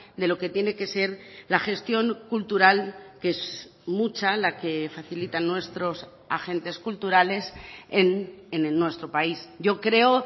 de lo que tiene que ser la gestión cultural que es mucha la que facilitan nuestros agentes culturales en nuestro país yo creo